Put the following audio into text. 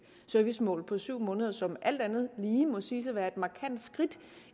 servicemål på syv måneder som alt andet lige må siges at være et markant skridt